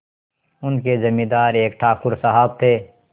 उनके जमींदार एक ठाकुर साहब थे